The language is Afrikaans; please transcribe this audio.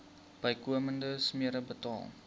bykomende smere betaal